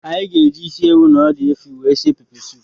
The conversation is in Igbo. Anyị ga-eji ịsị ewụ na ọdụ efi wee sie pepe soupu.